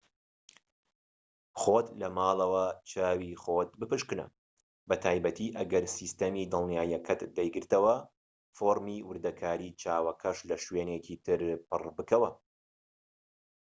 خۆت لە ماڵەوە چاوی خۆت بپشکنە بە تایبەتی ئەگەر سیستەمی دڵنیاییەکەت دەیگرتەوە فۆرمی وردەکاری چاوەکەش لە شوێنێکی تر پڕ بکەوە